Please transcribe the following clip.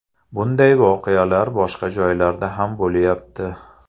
Bunday voqealar boshqa joylarda ham bo‘lyapti.